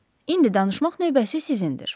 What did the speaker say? İndi danışmaq növbəsi sizindir.